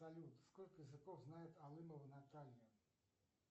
салют сколько языков знает алымова наталья